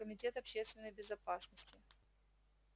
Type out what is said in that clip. комитет общественной безопасности